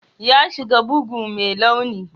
Yi shi bugu mai launi.